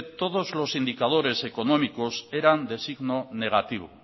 todos los indicadores económicos eran de signo negativo